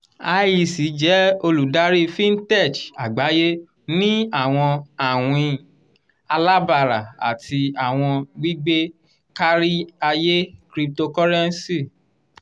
iec jẹ oludari fintech agbaye ni awọn awin alabara ati awọn gbigbe kariaye cryptocurrency.